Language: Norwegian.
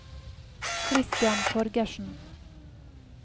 Kristian Torgersen